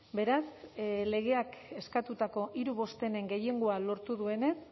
beraz legeak eskatutako hiru bostenen gehiengoa lortu duenez